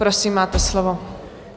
Prosím, máte slovo.